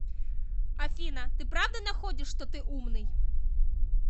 афина ты правда находишь что ты умный